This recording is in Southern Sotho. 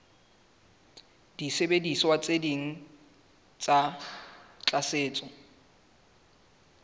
disebediswa tse ding tsa tlatsetso